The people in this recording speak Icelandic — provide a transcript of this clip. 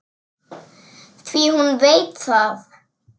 Því hún veit það.